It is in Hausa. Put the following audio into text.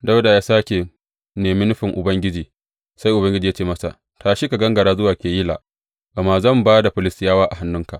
Dawuda ya sāke nemi nufin Ubangiji, sai Ubangiji ya ce masa, Tashi ka gangara zuwa Keyila, gama zan ba da Filistiyawa a hannunka.